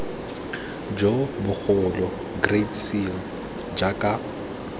jo bogolo great seal jaaka